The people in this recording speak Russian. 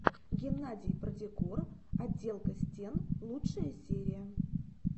геннадий продекор отделка стен лучшая серия